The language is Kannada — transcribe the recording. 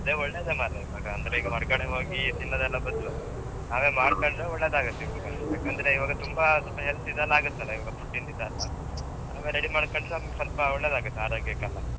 ಅದೇ ಒಳ್ಳೇದು ಮಾರೆ, ಅಂದ್ರೆ ಈಗ ಹೊರಗಡೆ ಹೋಗಿ ತಿನ್ನುದೆಲ್ಲ ಬದ್ಲು, ನಾವೆ ಮಾಡ್ಕೊಂಡ್ರೆ ಒಳ್ಳೇದಾಗತ್ತೆ ಈಗ. ಏಕೆಂದ್ರೆ ಈವಾಗ ತುಂಬಾ, health ಇದೆಲ್ಲಾ ಆಗತ್ತಲ್ಲ ಈವಾಗ food ಇಂದ ಇದೆಲ್ಲ ಈವಾಗ ನಾವೇ ready ಮಾಡ್ಕೊಂಡ್ರೆ ನಮ್ಗ್ ಸ್ವಲ್ಪ ಒಳ್ಳೇದಾಗತ್ತೆ ಆರೋಗ್ಯಕೆಲ್ಲ.